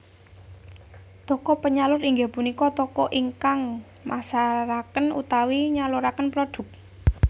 Toko penyalur inggih punika toko ingkang masaraken utawi nyaluraken prodhuk